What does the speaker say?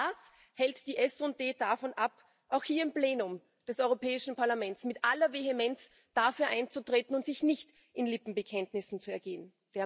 Was hält die SD davon ab, auch hier im Plenum des Europäischen Parlaments mit aller Vehemenz dafür einzutreten und sich nicht in Lippenbekenntnissen zu ergehen.